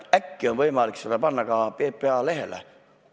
Äkki on seda võimalik panna ka PPA lehele?